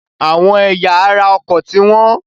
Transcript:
Àwọn ẹ̀yà ara ọkọ̀ ti wọ́n.